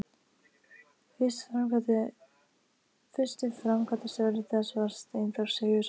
Fyrsti framkvæmdastjóri þess var Steinþór Sigurðsson.